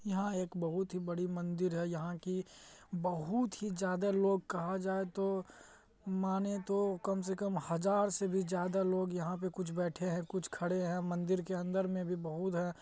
यहाँ एक बहुत ही बड़ी मंदिर है यहाँ की बहुत ही ज्यादा लोग कहा जाये तो माने तो कम से कम हजार से भी ज्यादा लोग यहाँ पे कुछ बैठे है कुछ खड़े है मंदिर के अंदर में भी बहुत है।